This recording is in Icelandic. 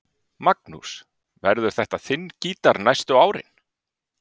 Magnús: Verður þetta þinn gítar næstu árin?